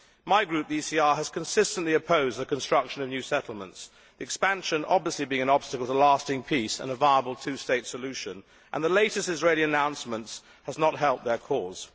My group, the ECR, has consistently opposed the construction of new settlements, expansion obviously being an obstacle to lasting peace and a viable two state solution, and the latest Israeli announcements have not helped their cause.